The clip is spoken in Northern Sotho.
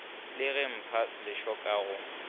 le go ipha lešoka go